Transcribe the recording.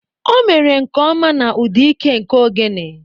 O mere nke ọma na ụda ike nke ogene.